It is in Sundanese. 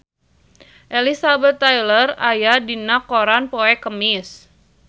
Elizabeth Taylor aya dina koran poe Kemis